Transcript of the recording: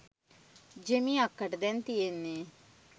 ජෙමි අක්කට දැන් තියෙන්නේ